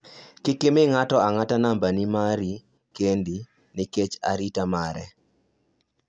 kik imi ng'ato ang'ta nambi mari kendi nikech arita mare